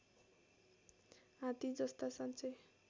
हात्ती जस्ता साँच्चै